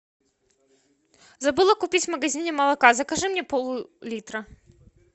забыла купить в магазине молока закажи мне пол литра